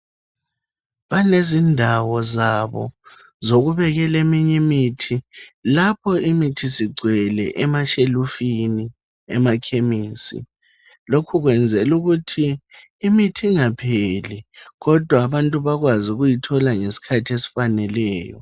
Balezindawo zabo zokubekele minyimithi lapho imithi sigcwele emashelufini emakhemisi lokhu kwenzelukuthi imithingapheli kodwa abantu bakwazi ukuyithola ngeskhathesfaneleyo.